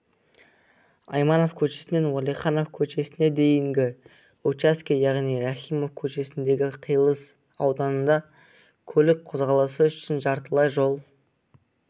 айманов көшесінен уәлиханов көшесіне дейінгі участке яғни рахимов көшесінен қиылыс ауданында көлік қозғалысы үшін жартылай жол